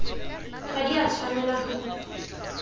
ga di a tshwanela go